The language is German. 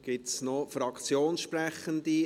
Gibt es noch Fraktionssprechende?